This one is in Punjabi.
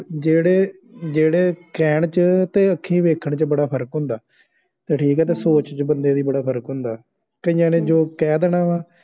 ਜਿਹੜੇ ਜਿਹੜੇ ਕਹਿਣ ਚ ਤੇ ਅੱਖੀਂ ਵੇਖਣ ਚ ਬੜਾ ਫਰਕ ਹੁੰਦਾ ਠੀਕ ਆ ਤੇ ਸੋਚ ਚ ਬੰਦੇ ਦੀ ਬੜਾ ਫਰਕ ਹੁੰਦਾ ਕਈਆ ਜੋ ਕਹਿ ਦੇਣਾ ਵਾ